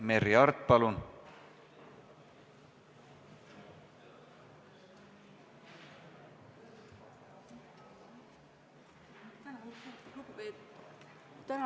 Merry Aart, palun!